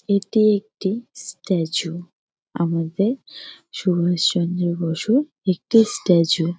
এটি একটি স্ট্যাচু । আমাদের সুভাষ চন্দ্র বসুর একটি স্ট্যাচু ।